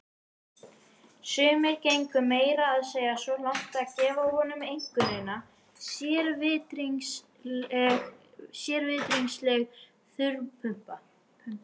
Sumir gengu meira að segja svo langt að gefa honum einkunnina sérvitringsleg þurrpumpa.